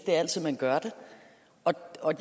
altid gør det og